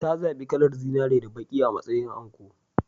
Ta zaɓi kalar zinare da baƙi a matsayin anko.